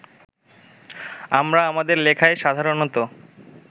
আমরা আমাদের লেখায় সাধারণত